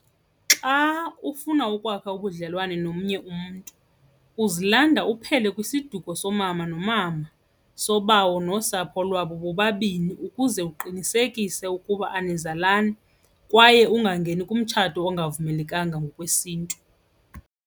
Xa ufuna ukwakha ubudlelwane nomnye umntu uzilanda uphele kwisiduko soomama nomama, sobawo nosapho lwabo bobabini ukuze uqinisekise ukuba anizalani kwaye ungangeni kumtshato ongavumelekanga ngokwesiNtu.